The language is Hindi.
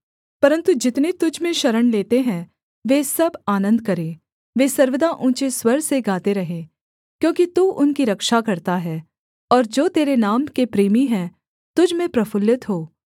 परन्तु जितने तुझ में शरण लेते हैं वे सब आनन्द करें वे सर्वदा ऊँचे स्वर से गाते रहें क्योंकि तू उनकी रक्षा करता है और जो तेरे नाम के प्रेमी हैं तुझ में प्रफुल्लित हों